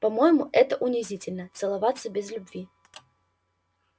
по моему это унизительно целоваться без любви